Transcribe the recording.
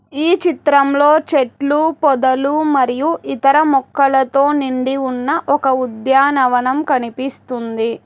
ఈ చిత్రంలో చెట్లు పొదలు మరియు ఇతర మొక్కలతో నిండి ఉన్న ఒక ఉద్యానవనం కనిపిస్తుంది.